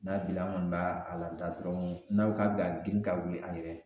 N'a bi la an kɔni b'a a lada dɔrɔn, n'a ko ka b'a girin ka wuli an yɛrɛ ye